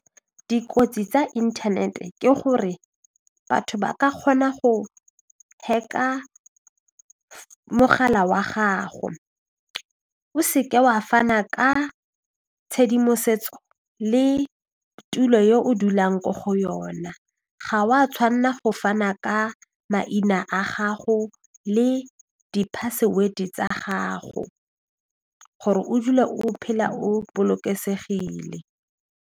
Dikotsi tsa inthanete ke gore batho ba ka kgona go hack-a mogala wa gago o se ke wa fana ka tshedimosetso le tulo yo o dulang ko go yona ga wa go fana ka maina a gago le di password tsa gago gore o dula o phela o bolokesegile.